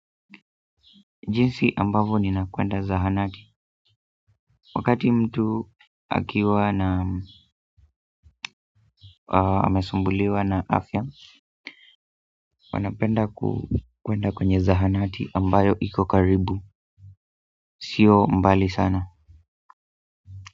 Jinsi ambavyo ninakwenda zahanati. Wakati mtu akiwa na amesumbuliwa na afya. Wanapenda kukwenda kwenye zahanati ambayo ikokaribu, sio mbali sana.